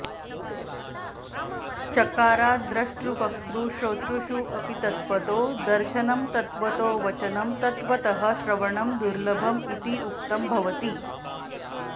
चकाराद् द्रष्टृवक्तृश्रोतृषु अपि तत्त्वतो दर्शनं तत्त्वतो वचनं तत्त्वतः श्रवणं दुर्लभम् इति उक्तं भवति